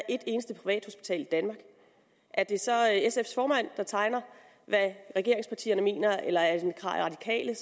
et eneste privathospital i danmark er det så sfs formand der tegner hvad regeringspartierne mener eller er det radikale